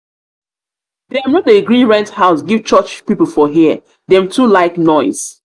dem no dey gree rent house give church pipu for here dem too like noise.